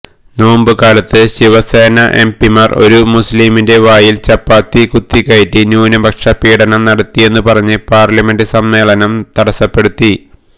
നോമ്പുകാലത്ത് ശിവസേന എംപിമാര് ഒരു മുസ്ലിമിന്റെ വായില് ചപ്പാത്തി കുത്തിക്കയറ്റി ന്യൂനപക്ഷപീഡനം നടത്തിയെന്നു പറഞ്ഞ് പാര്ലമെന്റ് സമ്മേളനം തടസ്സപ്പെടുത്തി